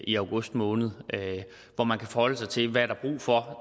i august måned hvor man kan forholde sig til hvad der er brug for